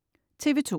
TV2: